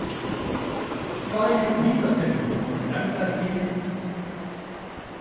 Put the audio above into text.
Tvær vítaspyrnur voru dæmdar í leiknum